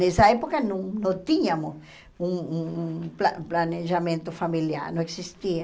Nessa época não não tínhamos um um pla planejamento familiar, não existia.